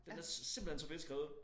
Den er simpelthen så fedt skrevet